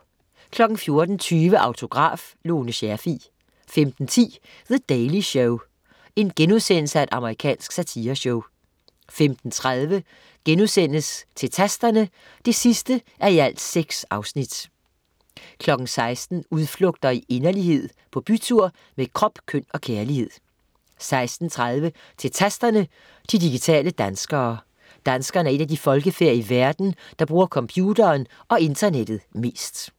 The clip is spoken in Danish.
14.20 Autograf: Lone Scherfig 15.10 The Daily Show. Amerikansk satireshow* 15.30 Til Tasterne 6:6* 16.00 Udflugter i inderlighed, på bytur med krop, køn og kærlighed 16.30 Til Tasterne, de digitale danskere. Danskerne er et af de folkefærd i verden, der bruger computeren og internettet mest